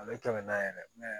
A bɛ kɛmɛ na yɛrɛ ne yɛrɛ